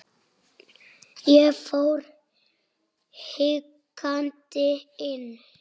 Ég fór hikandi inn.